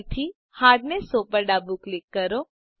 ફરીથીHardness 100 પર ડાબું ક્લિક કરો